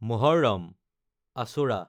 Muharram (আশোৰা)